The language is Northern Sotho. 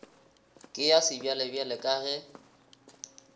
ke ya sebjalebjale ka ge